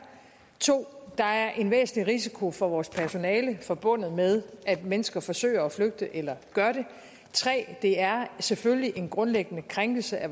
2 der er en væsentlig risiko for vores personale forbundet med at mennesker forsøger at flygte eller gør det 3 det er selvfølgelig en grundlæggende krænkelse af